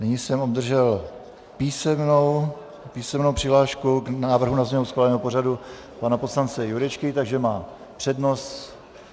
Nyní jsem obdržel písemnou přihlášku k návrhu na změnu schváleného pořadu pana poslance Jurečky, takže má přednost.